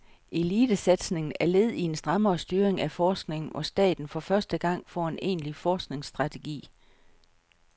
Elitesatsningen er led i en strammere styring af forskningen, hvor staten for første gang får en egentlig forskningsstrategi.